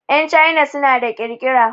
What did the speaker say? Yan China suna da ƙirƙira.